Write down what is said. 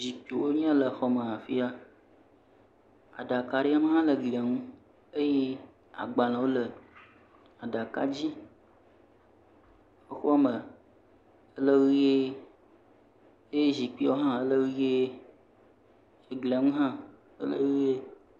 Zikpiwo nye ya le xɔme afia. Aɖaka aɖe me hã le glia ŋu. Eye agbalẽwo le aɖaka dzi. exɔme le ʋiee. Eye zikpiwo hã le ʋiee. Eglia ŋu hã le ʋiee.